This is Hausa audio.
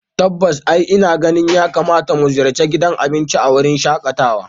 Tabbas eh ina ganin yakamata mu ziyarci gidan abinci a wurin shakatawa